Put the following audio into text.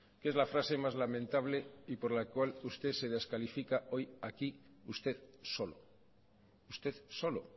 que es la frase más lamentable y por la cual usted se descalifica hoy aquí usted solo usted solo